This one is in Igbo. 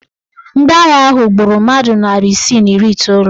Ndị agha ahụ gburu mmadụ narị isi na iri iteolu.